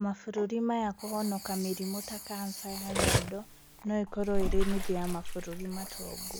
Mabũrũrinĩ maya, kũhonoka mĩrimu ta kansa ya nyondo no ĩkorwo ĩrĩ nuthu ya mabũrũri matongu